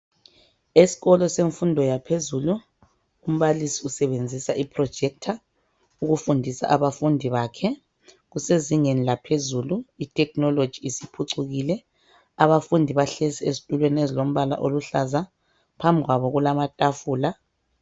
Eskolo senfundo yaphezulu, umbalisi usebenzisa I projector ukufundisa abafundi bakhe .Kusezingeni laphezulu itekinoloji isiphucukile. Abafundi bahlezi ezithulweni ezilombala oluhlaza, phambikwabo kulamathafula.